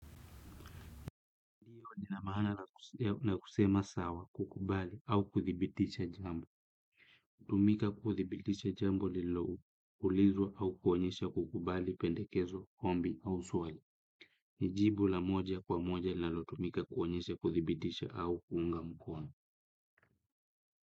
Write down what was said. Ndiyo lina maana la kusema sawa kukubali au kuthibitisha jambo. Hutumika kuthibitisha jambo liloulizwa au kuonyesha kukubali pendekezo ombi au swali. Ni jibu la moja kwa moja linalotumika kuonyesha kuthibitisha au kuunga mkono.